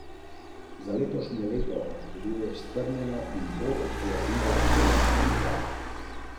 Nekdaj čevljarsko mesto nadaljuje tradicijo šuštarskih praznikov, ki jo je včeraj podprlo tudi na tisoče obiskovalcev.